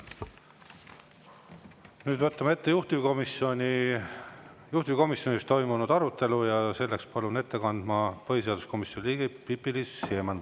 Nüüd võtame ette juhtivkomisjonis toimunud arutelu ja seda palun põhiseaduskomisjoni liikme Pipi-Liis Siemanni.